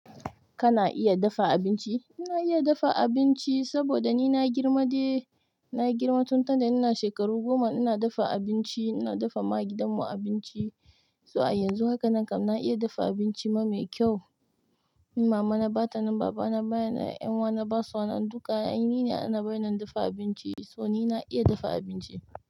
Kana iya dafa abinci? Ina iya dafa abinci saboda ni na girma dai. Na girma tun tunda ina shekaru goma ina dafa abinci, ina dafa ma gidan mu abinci. To a yanzu hakanan kam na iya dafa abinci ma mai kyau. In mama na ba ta nan, baba na ba nan, ƴan uwa na basa nan, duka ai ni ne ana barin na dafa abinci. So ni na iya dafa abinci.